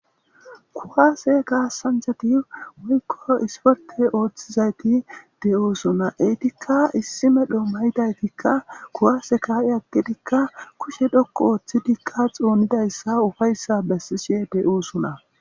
kuwaase kaasanchati woykko isporte ooththizayti de7oosuna etikka issime dhommayidaytikka kuwaase kaa7e akkidikka kushe dhokku ooththidikka xoonidayssa ufayssa bessishe de7oosona